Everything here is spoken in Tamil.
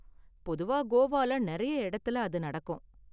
பொதுவா கோவால நிறைய இடத்துல அது நடக்கும்.